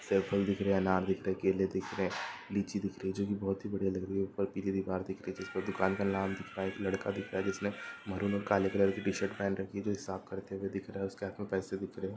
सेब फल दिख रहे हैं अनार दिख रहे हैं केले दिख रहे हैं लीची दिख रही है जो कि बहोत ही बढ़िया लग रही है। ऊपर पीली दीवार दिख रही है जिसपर दुकान का नाम दिख रहा है। एक लड़का दिख रहा है जिसने महरून और काले कलर की टी-शर्ट पहन रखी है जो हिसाब करते हुए दिख रहा है। उसके हाथ में पैसे दिख रहे हैं।